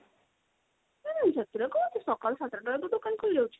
ଉଁ ସେଥିରେ କଣ ଅଛି ସକାଳୁ ସାତ ଟା ରୁ ତ ଦୋକାନ ଖୋଲି ଯାଉଛି।